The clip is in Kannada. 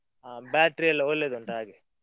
ಹಾ battery ಎಲ್ಲಾ ಒಳ್ಳೆದುಂಟು ಹಾಗೆ.